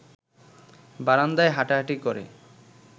বারান্দায় হাঁটাহাঁটি করে